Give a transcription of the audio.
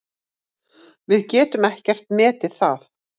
Við getum ekkert metið það.